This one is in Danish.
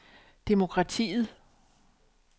demokratiet